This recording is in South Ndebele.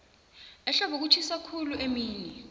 ehlobo kutjhisa khulu emini